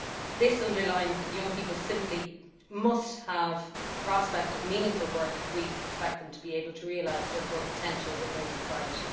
This underlines that young people simply must have the prospect of meaningful work if we expect them to be able to realise their full potential within society.